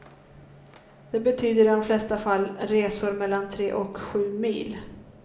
Det betyder i de flesta fall resor mellan tre och sju mil.